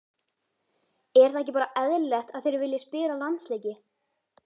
Er það ekki bara eðlilegt að þeir vilji spila landsleiki?